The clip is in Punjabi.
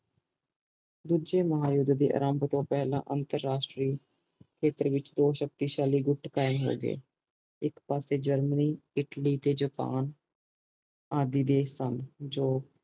ਦੂਜੇ ਮਹਾ ਯੂੱਧ ਦੇ ਆਰੰਬ ਤੋਂ ਪੈਲ੍ਹਾਂ ਅੰਤਰਰਾਸਟਰੀ ਸ਼ਕਤੀਸ਼ਾਲੀ ਗੁਪਤ ਕਾਇਮ ਹੋਗੇ ਇਕ ਪਾਸੇ ਜਰਮਨੀ ਇਟਲੀ ਤੇ ਜਪਾਨ ਆਦਿ ਦੇਸ਼ ਸਨ